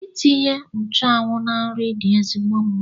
Itinye nchụanwụ na nri dị ezigbo mma